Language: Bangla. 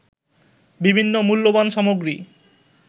বিভিন্ন মূল্যবান সামগ্রী